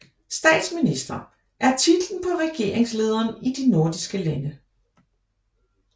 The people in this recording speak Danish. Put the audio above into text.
Statsminister er titlen på regeringslederen i de nordiske lande